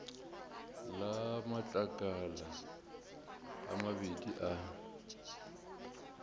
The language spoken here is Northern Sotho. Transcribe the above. le matlakala a mabedi a